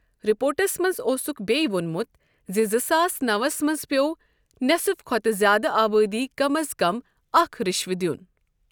رِپورٹَس منٛز اوسُکھ بیٚیہِ وونمُت زِ زٕ ساس نَوس منٛز پٮ۪وٚو نٮ۪صِف کھۄتہٕ زِیٛادٕ آبٲدی کم از کم اکھ رٕشوٕ دِیوُن ۔